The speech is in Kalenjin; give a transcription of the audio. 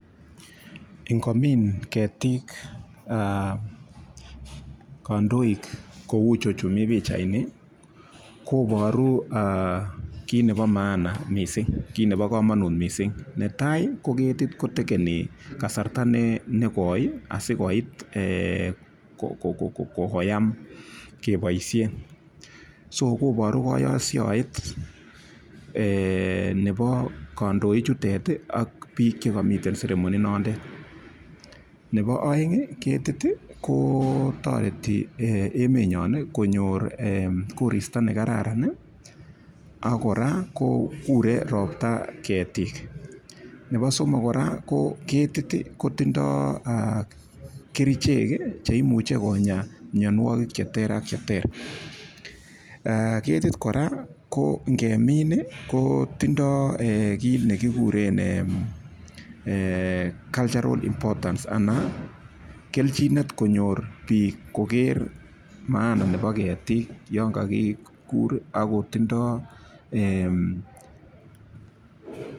Ingomin ketik kandoik kou chechu mi pichaini koboru kit nebo maana kit nebo komonut mising. Netai ko ketit Ko takeni kasarta negoi asikoit koyam keboishe so koboru kayoshoet nebo kandoichutet ak biik che kamiei ceremoni nondet. Nebo oeng ketit ko torei enenyo konyor koristo ne kararan ak kora ko kurei ropta ketik. Nebo somok kora ketit kotinyei kerichek cheimuchi konya mianwagik che ter ak che ter. Ketit kora ko ng'emin kotindoi kiit nekiguren cultural importance anan keljinet konyor biik koker maana nebo ketik yon kakibur ak kotindoi ee.